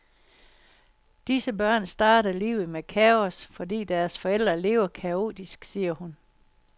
Disse børn starter livet med kaos, fordi deres forældre lever kaotisk, siger hun.